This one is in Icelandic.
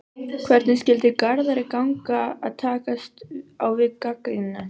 Hvernig skyldi Garðari ganga að takast á við gagnrýnina?